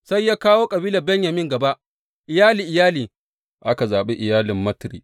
Sai ya kawo kabilar Benyamin gaba, iyali iyali, aka zaɓi iyalin Matri.